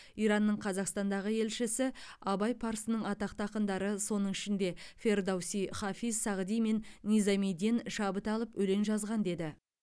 иранның қазақстандағы елшісі абай парсының атақты ақындары соның ішінде фердоуси хафиз сағди мен низамиден шабыт алып өлең жазған деді